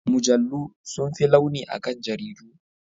Mujallu sun fi launi akan jaridu.